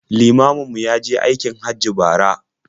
Limamin mu ya je aikin Hajji bara.